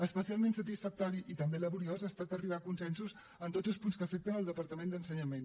especialment satisfactori i també laboriós ha estat arribar a consensos en tots els punts que afecten el departament d’ensenyament